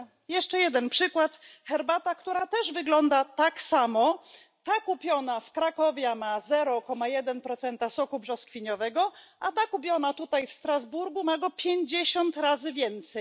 Jeszcze jeden przykład herbata, która też wygląda tak samo ta kupiona w Krakowie ma 0,1 soku brzoskwiniowego, a ta kupiona tutaj w Strasburgu ma go 50 razy więcej.